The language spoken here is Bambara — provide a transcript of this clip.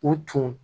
U tun